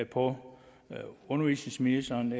på undervisningsministerens